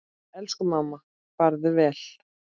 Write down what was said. Elsku mamma, farðu vel.